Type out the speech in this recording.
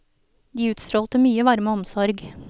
De utstrålte mye varme og omsorg.